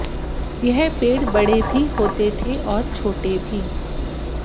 यह पेड़ बड़े भी होते थे और छोटे भी